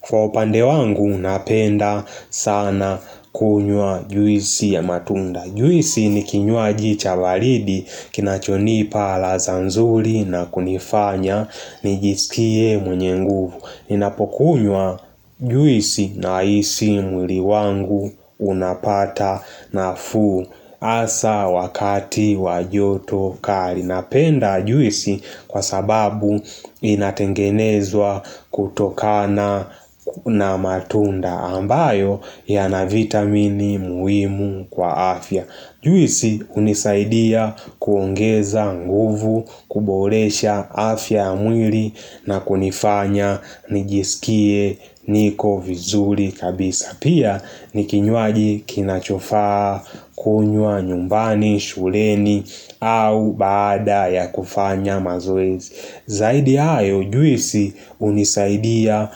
Kwa upande wangu napenda sana kunywa juisi ya matunda. Juisi ni kinywaji cha baridi kinachonipa alaza nzuri na kunifanya nijisikie mwenye nguvu. Ninapokunywa juisi nahisi mwili wangu unapata nafuu asa wakati wa joto kali. Napenda juisi kwa sababu inatengenezwa kutokana na matunda ambayo yana vitamini muhimu kwa afya. Juisi unisaidia kuongeza nguvu, kuboresha afya ya mwili na kunifanya nijisikie niko vizuri kabisa. Pia ni kinywaji kinachofaa kunywa nyumbani, shuleni au baada ya kufanya mazoezi. Zaidi ya hayo juisi unisaidia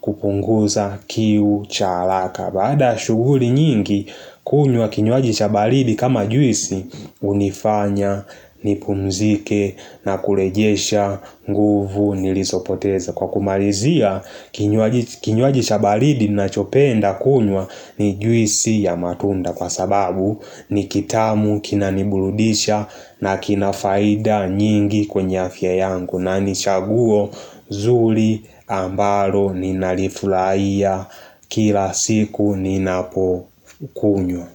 kupunguza kiu cha haraka. Baada ya shughuli nyingi kunywa kinywaji cha baridi kama juisi unifanya nipunzike na kurejesha nguvu nilizopoteza Kwa kumalizia, kinywaji cha baridi nachopenda kunywa ni juisi ya matunda Kwa sababu ni kitamu, kina niburudisha na kina faida nyingi kwenye afya yangu na ni chaguo zuri ambalo ninali furahia kila siku ninapo kunywa.